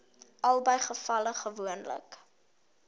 albei gevalle gewoonlik